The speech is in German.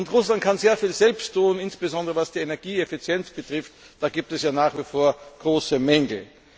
Russland kann sehr viel selbst tun, insbesondere was die Energieeffizienz betrifft, da gibt es ja nach wie vor große Mängel.